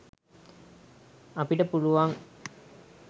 අපිට පුළුවං